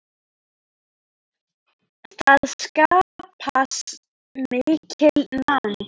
Það skapast mikil nánd.